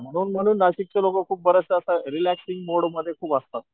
म्हणून म्हणून नाशिकचे लोक खुप बरेचदा अस रील्याक्सइंग मोड मध्ये खूप असतात.